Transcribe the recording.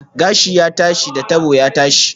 Gashi ya tashi, da tabo ya tashi